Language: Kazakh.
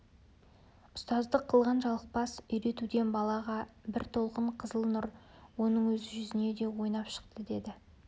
ұстаздық қылған жалықпас үйретуден балаға бір толқын қызыл нұр оның өз жүзіне де ойнап шықты деді